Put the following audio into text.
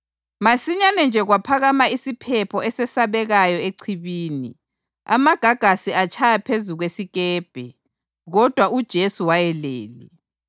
Masinyane nje kwaphakama isiphepho esesabekayo echibini, amagagasi atshaya phezu kwesikepe. Kodwa uJesu wayelele.